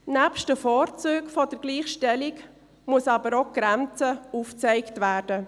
Nebst den Vorzügen der Gleichstellung muss aber auch deren Grenze aufgezeigt werden.